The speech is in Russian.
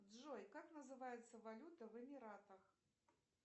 джой как называется валюта в эмиратах